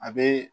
A bee